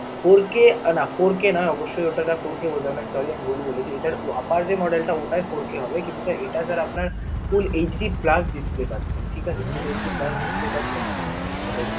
four k না four k না অবশ্যই ওটাকে four k বোঝায় না sorry আমি ভুল বলেছি. এটার upper যে model টা ওটায় four k হবে কিন্তু এটা sir আপনার full HD plus display পাচ্ছেন ঠিক আছে? full HD plus display পাচ্ছেন. মানে